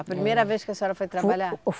A primeira vez que a senhora foi trabalhar?